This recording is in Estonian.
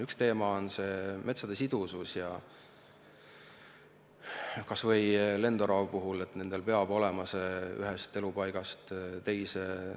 Üks teema on metsade sidusus, et kas või näiteks lendoravatel oleks võimalik minna ühest elupaigast teise.